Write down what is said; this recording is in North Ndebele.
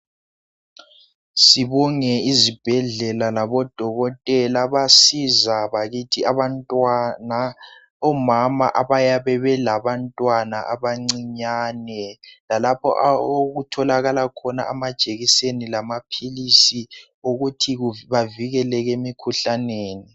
sibonge izibhedlela labodokotela abasiza bakithi omama abayabe belantwana abancinyane lalapho okutholakala khona amajekiseni lamaphilisi okuthi bavikeleke emikhuhlaneni